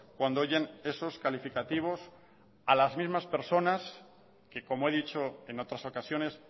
cuando oyen esos calificativos a las mismas personas que como he dicho en otras ocasiones